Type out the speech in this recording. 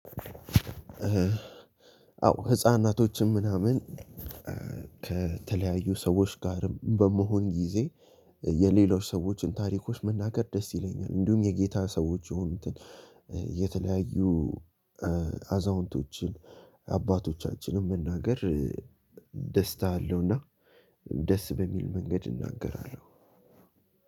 አዎ ህፃናቶችም ምናምን ከተለያዩ ሰዎች ጋርም በመሆን ጊዜ የሌላው ሰዎችን ታሪኮች መናገር ደስ ይለኛል። እንዲሁም የጌታ ሰዎች የሆኑትን የተለያዩ አዛውንቶችን አባቶቻችንን መናገር ደስታ አለውና ደስ በሚል መንገድ እናገራለሁ።